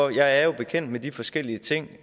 er jo bekendt med de forskellige ting